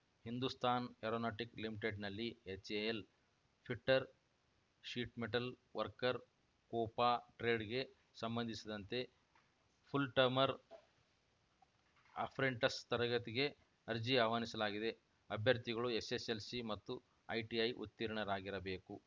Hindustan Aeronautic ಲಿಮಿಟೆಡ್‌ನಲ್ಲಿ HAL fitter sheet metal worker COPA ಟ್ರೇಡ್‌ಗೆ ಸಂಬಂಸಿದಂತೆ ಫುಲ್‌ಟಮರ್ ಅಪ್ರೆಂಟಿಸ್‌ ತರಬೇತಿಗೆ ಅರ್ಜಿ ಆಹ್ವಾನಿಸಲಾಗಿದೆ ಅಭ್ಯರ್ಥಿಗಳು ಎಸ್‌ಎಸ್‌ಎಲ್‌ಸಿ ಮತ್ತು ಐಟಿಐ ಉತ್ತೀರ್ಣರಾಗಿರಬೇಕು